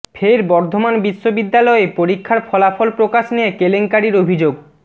ফের বর্ধমান বিশ্ববিদ্যালয়ে পরীক্ষার ফলাফল প্রকাশ নিয়ে কেলেঙ্কারির অভিযোগ